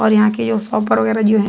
और यहां के जो शॉपर वगैरह जो है --